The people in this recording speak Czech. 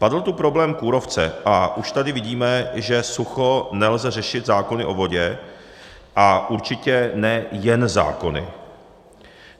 Padl tu problém kůrovce a už tady vidíme, že sucho nelze řešit zákony o vodě, a určitě ne jen zákony.